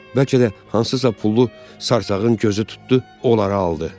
Bəlkə də hansısa pullu sarımsağın gözü tutdu, onları aldı.